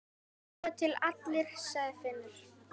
Svo til allir, sagði Finnur.